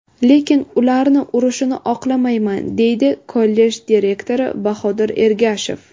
Lekin, ularni urishni oqlamayman” , deydi kollej direktori Bahodir Ergashev.